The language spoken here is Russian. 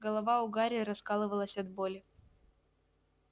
голова у гарри раскалывалась от боли